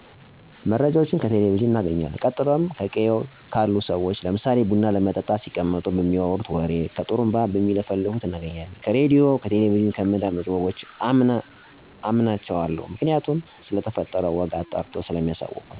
መረጃወችን ከቴሌቨዥን እናገኝለን ቀጥሎም ከቅየው ታሉ ሰዎች ለምሳሌ ቡና ለመጠጣት ሲቀመጡ ከሚያወጉት ወግ ከጡሩንባ ከሚለፍፉት እናገኛለን። ከራድዮ እና ከቴሌቨዥን የምናዳምጣቸው ወጎችን አምናቸዋለሁ ምክንያቱም ስለተፈጠረው ወግ አጣርቶ ሰለሚያሳውቀን። እንዲሁም ስላለሁበት ቅየው ከመንደርተኞች በሚወጋ ወግ ለምሳሌ ከጥሩንባ ለፋፉወች፣ ከድርተኞች ከሚመጣ ወግ አምናለሁ። የማምንበት ምክንያት መረጃው ከዛው ከቅርብ ሰለሚያገኙ።